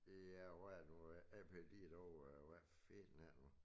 Ja hvad er det nu A P D derovre hvad filan er det nu